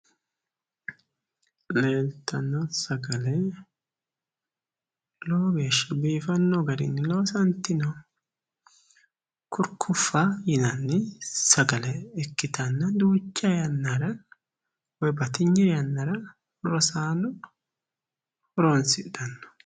Leeltanno sagale lowo geeshsha biifanno garinni loosantino kurkkuffa yinanni sagale ikkitanna duucha yannara woyi batinye yannara rosaano horonssidhanno.